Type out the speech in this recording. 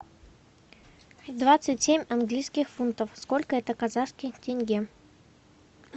двадцать семь английских фунтов сколько это в казахских тенге